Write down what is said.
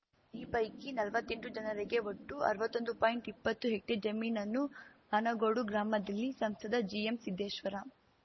ಈ ಪೈಕಿ ನಲ್ವತ್ತೆಂಟು ಜನರಿಗೆ ಒಟ್ಟು ಅರ್ವತ್ತೊಂದು ಪಾಯಿಂಟ್ಇಪ್ಪತ್ತು ಹೆಕ್ಟೇರ್‌ ಜಮೀನನ್ನು ಆನಗೋಡು ಗ್ರಾಮದಲ್ಲಿ ಸಂಸದ ಜಿಎಂಸಿದ್ದೇಶ್ವರ